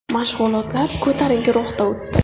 Mashg‘ulotlar ko‘tarinki ruhda o‘tdi.